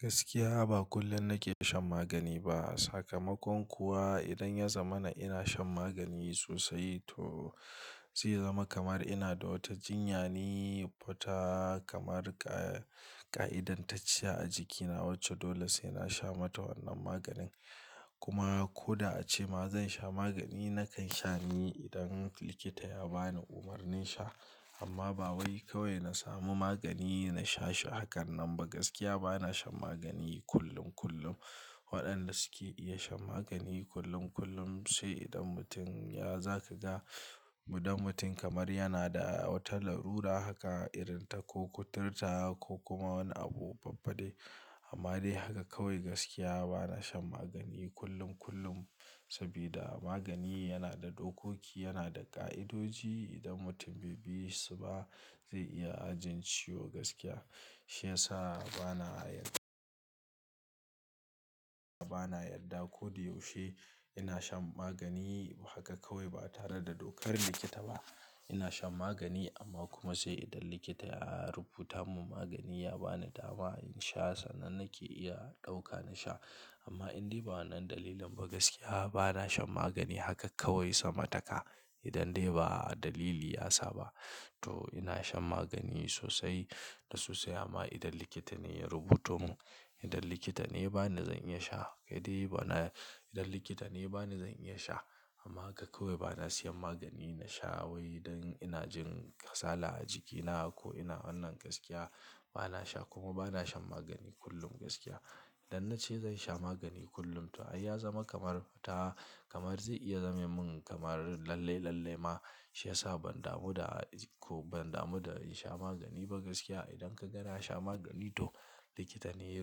Gaskiya ba kullum nake shan magani ba. Sakamakon kuwa idan ya zama na ina shan magani sosai to zai zama kamar ina da wata jinya ne futa kamar kaa ƙa'idantacciya a jikina wacce dole sai na sha mata wannan maganin. Kuma ko da ace ma zan sha magani nakan sha ne idan likita ya bani umarnin sha. Amma ba wai kawai na samu magani na sha shi hakan nan ba. Gaskiya bana shan magani kullum kullum. Waɗanda suke iya shan magani kullum kullum, sai idan mutum ya-- za ka ga mudam mutum kamar yana da wata larura haka irin ta ko kuturta ko kuma wani abu babba dai. Amma dai haka kawai gaskiya bana shan magani kullum kullum. Sabida magani yana da dokoki, yana da ƙa'idoji. Idan mutum bai bi su ba zai iya ajin ciwo gaskiya. Shiyasa bana yarda, bana yarda ko da yaushe ina shan magani haka kawai ba tare da dokar likita ba. Ina shan magani amma kuma sai idan likita ya rubuta mun magani ya bani dama in sha sannan nake iya ɗauka na sha. Amma in dai ba wannan dalilin ba gaskiya bana shan magani haka kawai sama taka. Idan dai ba dalili ya saba. To ina shan magani sosai da sosai amma idan likita ne ya rubuto mun, idan likita ne ba ni zan iya sha. Idan bai, idan likita ne ba ni zan iya sha. Amma haka kawai bana siyan magani na sha wai idan ina jin kasala a jikina ko ina wannan gaskiya bana sha kuma bana shan magani kullum gaskiya. Idan na ce zan sha magani kullum to ai ya zama kamar fita kamar zai iya zame mun kamar lalle lalle ma. Shiyasa ban damu da ko ban damu da in sha magani ba gaskiya. Idan ka ga na sha magani to likita ne ya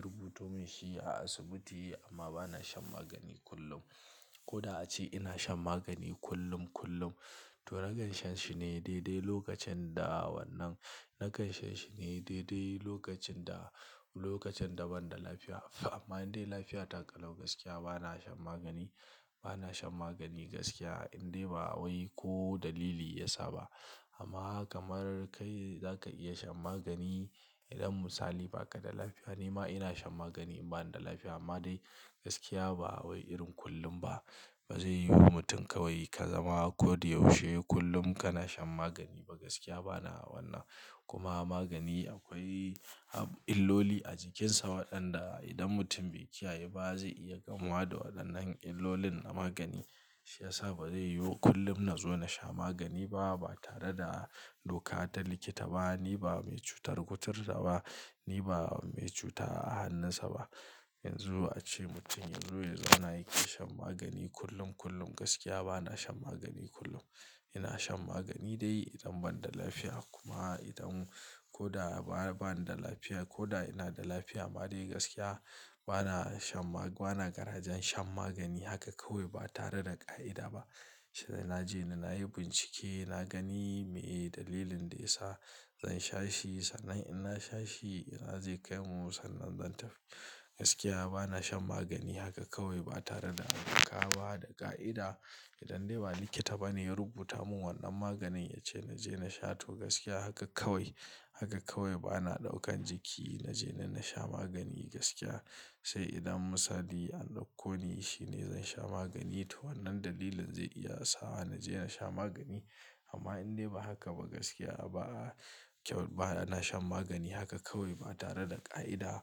rubuto mun shi a asibiti amma bana shan magani kullum. Ko da a ce ina shan magani kullum kullum to nakansha shi ne dai dai lokacin da wannan, nakansha shi ne dai dai lokacin da, lokacin da ban da lafiya. Amma in dai lafiya ta ƙalau gaskiya bana shan magani, bana shan magani gaskiya in dai ba wai ko dalili ya saba. Amma kamar kai za ka iya shan magani idan misali baka da lafiya nima ina shan magani in bani da lafiya. Amma dai gaskiya ba wai irin kullum ba. Ba zai yiwu mutum kawai ka zama ko da yaushe kullum kana shan magani ba gaskiya bana wannan. Kuma magani akwai illoli a jikinsa waɗanda idan mutum bai kiyaye ba zai iya gamuwa da waɗannan illolin na magani. Shiyasa ba zai yiwu kullum na zo na sha magani ba, ba tare da doka ta likita ba. Ni ba mai cutar kuturta ba, ni ba mai cuta a hannunsa ba. Yanzu a ce mutum yazo ya zauna yake shan magani kullum kullum gaskiya bana shan magani kullum. Ina shan magani dai idan ban da lafiya. Kuma idan ko da ba, bani da lafiya ko da ina da lafiya amma dai gaskiya bana shan magani, bana karajen shan magani haka kawai ba tare da ƙa'ida ba. Shiyiasa na ji ni nayi bincike, na gani me dalilin da ya sa zan sha shi sannan in na sha shi ina zai kai mu sannan zan tafi. Gaskiya bana shan magani haka kawai ba tare da alƙa wa, da ƙa'ida. Idan dai ba likita bane ya rubuta mun wannan maganin ya ce na je na sha to gaskiya haka kawai. Haka kawai bana ɗaukan jiki na je na sha magani gaskiya. Sai idan misali an ɗauko ni shine zan sha magani to wannan dalilin zai iya sa wa na je na sha magani. Amma in dai ba haka ba gaskiya ba kyau, ba na shan magani haka kawai ba tare da ƙa'ida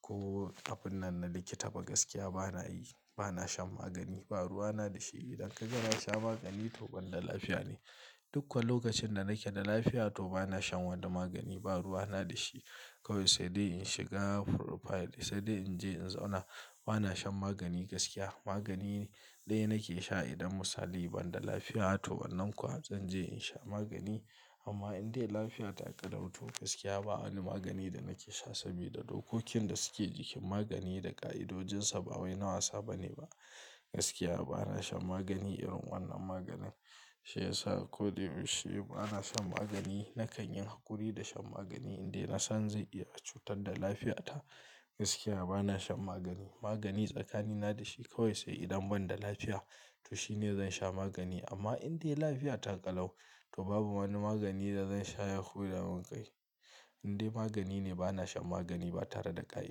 ko kafin nan na likita ba gaskiya bana yi, bana shan magani. Ba ruwa na da shi idan ka ga na sha magani to ban da lafiya ne. Dukko lokacin da nake da lafiya to bana shan wani magani ba ruwa na da shi. Kawai sai dai in shiga profile sai dai in je in zauna. Bana shan magani gaskiya. Magani ɗaya nake sha idan misali ban da lafiya to wannan kuwa zan je in sha magani. Amma in dai lafiya ta ƙalau to gaskiya ba wani magani da nake sha sabida dokokin da suke jikin magani da ƙa'idojinsa ba wai na wasa bane ba. Gaskiya bana shan magani irin wannan maganin. Shiyasa ko da yaushe ba na shan magani. Na kan yi haƙuri da shan magani in dai na san zai iya cutar da lafiya ta. Gaskiya bana shan magani. Magani tsakanina da shi kawai sai idan ban da lafiya to shine zan sha magani. Amma in dai lafiya ta ƙalau to babu wani magani da zan sha ya ya hudamun ƙai. In dai magani ne bana shan magani ba tare da ƙa'i.